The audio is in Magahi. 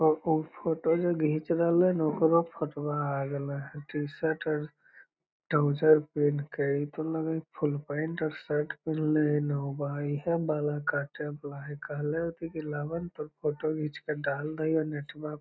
उ फोटो जे घीच रहले न ओकरो फोटुवा आ गईले है | टी-शर्ट और ट्रॉउज़र पेहन कर | इ तो लग हई फुल पेंट और शर्ट पहनले हई नौवा इहे बाल कटे वाला हाई कहले होतइ की लाव ना तोर फोटो घीच के डाल दे हिव नेटवा --